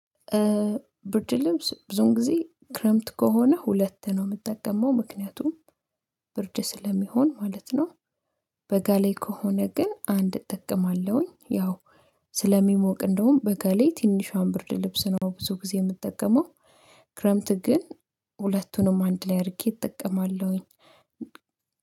ብርድ ልብስ ብዙን ጊዜ ክረምት ከሆነ ሁለት ነው የምጠቀመው ምክንያቱም ብርድ ስለሚሆን ማለት ነው። በጋ ላይ ከሆነ ግን አንድ እጠቀማለሁኝ ያው ስለሚሞቅ እንደውም በጋ ላይ ትንሿን ብርድ ልብስ ነው ብዙ ጊዜ የምጠቀመው። ክረምት ግን ሁለቱንም አንድ ላይ አርጌ እጠቀማለሁኝ።